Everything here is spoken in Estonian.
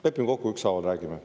Lepime kokku, et ükshaaval räägime.